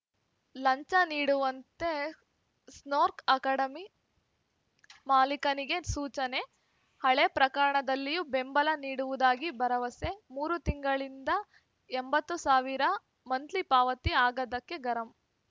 ಲಂಚ ನೀಡುವಂತೆ ಸ್ನೋರ್ಕ್ ಅಕಾಡೆಮಿ ಮಾಲಿಕನಿಗೆ ಸೂಚನೆ ಹಳೇ ಪ್ರಕರಣದಲ್ಲಿಯೂ ಬೆಂಬಲ ನೀಡುವುದಾಗಿ ಭರವಸೆ ಮೂರು ತಿಂಗಳಿಂದ ಎಂಬತ್ತು ಸಾವಿರ ಮಂತ್ಲಿ ಪಾವತಿ ಆಗದ್ದಕ್ಕೆ ಗರಂ